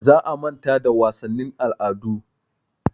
Za a manta da wasannin al'adu.